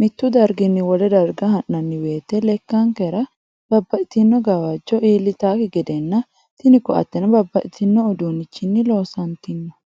mittu darginni wole darga ha'nanni woyite lekkankera babaxitinno gawajjo iillitakki gedenna tini koatteno babaxino uduunnichinni loosantinno.